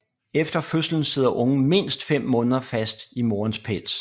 Efter fødslen sidder ungen mindst fem måneder fast i morens pels